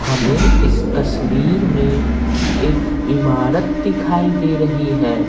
हमें इस तस्वीर में एक इमारत दिखाई दे रही है।